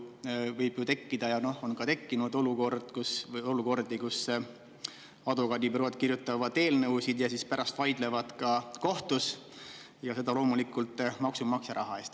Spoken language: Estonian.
Võib ju tekkida ja ongi tekkinud olukordi, kus advokaadibürood kirjutavad eelnõusid ja siis pärast vaidlevad kohtus, ja seda loomulikult maksumaksja raha eest.